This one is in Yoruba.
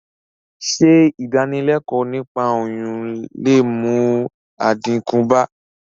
Sé ìdánilékòó niípa oyún le mú àdínkù bá...